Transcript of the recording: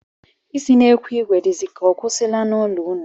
Isi n'ekwu ìgwè dịzi ka ọ kwụsịwala n'ụlọ unu?